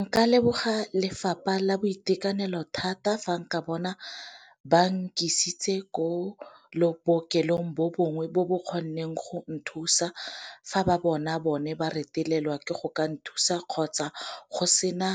Nka leboga lefapha la boitekanelo thata fa nka bona ba nkisitse ko le bookelong bo bongwe bo bo kgonneng go nthusa, fa ba bona bone ba retelelwa ke go ka nthusa kgotsa go sena